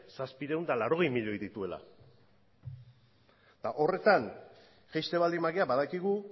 zazpiehun eta laurogeita hamar milioi dituela eta horretan jaisten baldin bagara badakigu